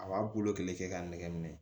A b'a bolo kelen kɛ k'a nɛgɛ minɛ